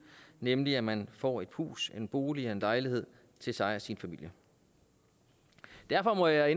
nemlig at man får et hus en bolig en lejlighed til sig selv og sin familie derfor må jeg